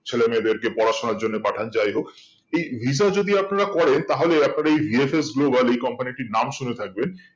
ছেলে মেয়েদের কে পড়াশোনার জন্য পাঠান যাই হোক এই visa যদি আপনারা করেন তাহলে আপনারা এই VFS Global এই company টির নাম শুনে থাকবেন